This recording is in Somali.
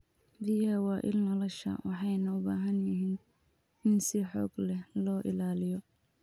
Biyaha waa il nolosha, waxayna u baahan yihiin in si xoog leh loo ilaaliyo.